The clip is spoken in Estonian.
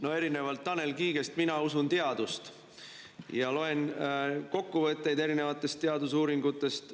No erinevalt Tanel Kiigest mina usun teadust ja loen kokkuvõtteid erinevatest teadusuuringutest.